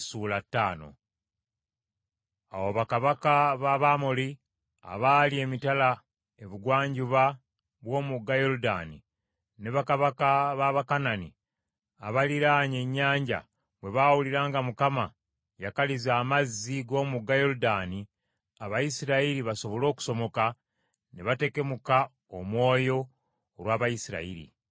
Awo bakabaka ba ab’Amoli abaali emitala ebugwanjuba bw’omugga Yoludaani, ne bakabaka b’Abakanani abaliraanye ennyanja bwe baawulira nga Mukama yakaliza amazzi g’omugga Yoludaani Abayisirayiri basobole okusomoka, ne batekemuka omwoyo olw’Abayisirayiri.